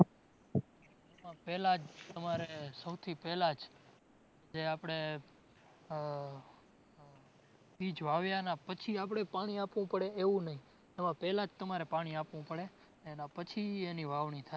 પેલાં જ તમારે સૌથી પેલાં જ, જે આપડે આહ બીજ વાવયાનાં પછી આપડે પાણી આપવું પડે એવું નઇ. આમાં પેલા જ તામરે પાણી આપવું પડે એના પછી એની વાવણી થાય.